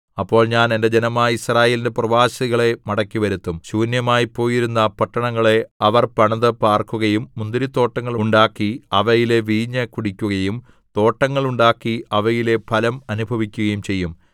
അപ്പോൾ ഞാൻ എന്റെ ജനമായ യിസ്രായേലിന്റെ പ്രവാസികളെ മടക്കിവരുത്തും ശൂന്യമായിപ്പോയിരുന്ന പട്ടണങ്ങളെ അവർ പണിത് പാർക്കുകയും മുന്തിരിത്തോട്ടങ്ങൾ ഉണ്ടാക്കി അവയിലെ വീഞ്ഞ് കുടിക്കുകയും തോട്ടങ്ങൾ ഉണ്ടാക്കി അവയിലെ ഫലം അനുഭവിക്കുകയും ചെയ്യും